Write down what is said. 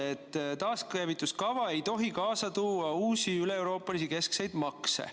Nimelt, taaskäivituskava ei tohi kaasa tuua uusi üleeuroopalisi keskseid makse.